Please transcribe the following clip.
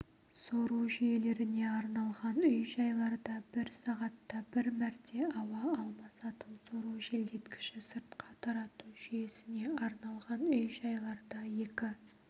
сору жүйелеріне арналған үй-жайларда бір сағатта бір мәрте ауа алмасатын сору желдеткіші сыртқа тарату жүйесіне арналған үй-жайларда екі